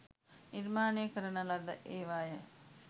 නිර්මානය කරන ලද ඒවාය